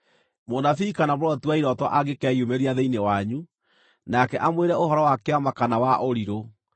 Mũnabii kana mũroti wa irooto angĩkeyumĩria thĩinĩ wanyu, nake amwĩre ũhoro wa kĩama kana wa ũrirũ,